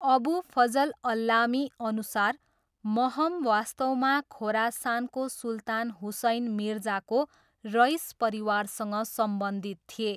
अबू फजल अल्लामीअनुसार महम वास्तवमा खोरासानको सुल्तान हुसैन मिर्जाको रइस परिवारसँग सम्बन्धित थिए।